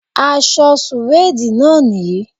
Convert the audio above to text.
Aṣọ sùwéèdì náà nìyí